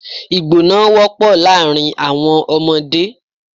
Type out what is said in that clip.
Ìgbọná wọ́pọ̀ láàrin àwọn ọmọdé.